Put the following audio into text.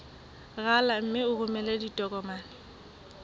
rala mme o romele ditokomene